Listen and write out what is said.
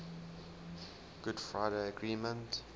good friday agreement